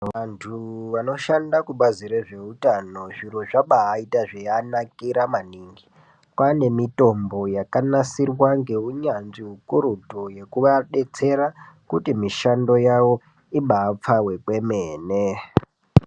Vantu vanoshanda kubazi rezveutano zviro zvabaita zveianakira maningi pane mitombo yakanisirwa ngeunyanzvi hukurutu yekuadetsera kuti mishando yawo ibapfawe kwemene